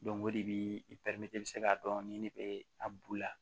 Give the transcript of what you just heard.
o de bi k'a dɔn ni ne be a bulu la